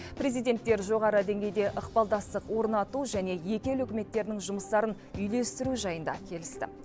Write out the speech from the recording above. президенттер жоғары деңгейде ықпалдастық орнату және екі ел үкіметтерінің жұмыстарын үйлестіру жайын да келісті